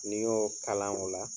N'i y'o kalan o la